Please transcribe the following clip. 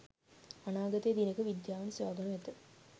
අනාගතයේ දිනක විද්‍යාවෙන් සොයාගනු ඇත.